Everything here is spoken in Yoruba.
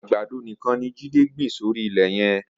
Agbádó nikán ni Jide gbin sóri ilẹ yẹn